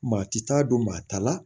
Maa ti taa don maa ta la